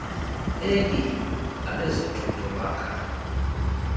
elly abezothutho baka